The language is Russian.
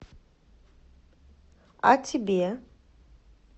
а тебе